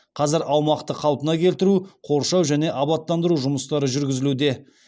қазір аумақты қалпына келтіру қоршау және абаттандыру жұмыстары жүргізілуде